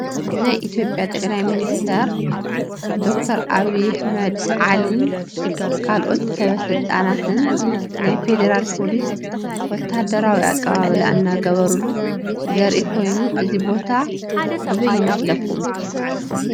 ናይ ኢትዮጲያ ጠቅላይ ሚኒስትር ዶክተር አብይ አሕመድን ዓሊ ካልኦት ሰበስልጣናትን ናይ ፌደራል ፖሊስ ወታደራዊ አቀባበል እናገበሩሉ ዘሪኢ ኮይኑ እዚ ቦታ አበይ ይመስለኩም?